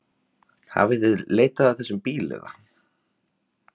Hafið þið leitað að þessum bílum eða?